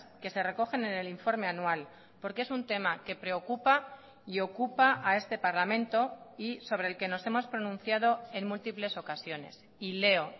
que se recogen en el informe anual porque es un tema que preocupa y ocupa a este parlamento y sobre el que nos hemos pronunciado en múltiples ocasiones y leo